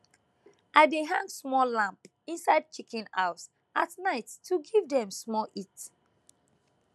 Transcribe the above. i dey hang small lamp inside chicken house at night to give dem small heat